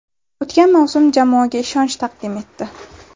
O‘tgan mavsum jamoaga ishonch taqdim etdi.